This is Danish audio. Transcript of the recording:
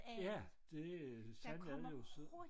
Ja det sådan er det jo